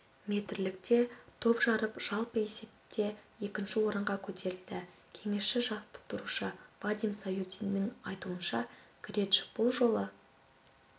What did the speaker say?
метрлікте топ жарып жалпы есепте екінші орынға көтерілді кеңесші-жаттықтырушы вадим саютиннің айтуынша креч бұл жолы